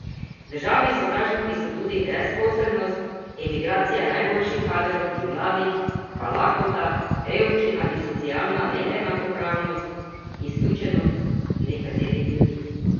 Državni sovražniki so tudi brezposelnost, emigracija najboljših kadrov in mladih, pa lakota, revščina in socialna neenakopravnost, izključenost nekaterih ljudi.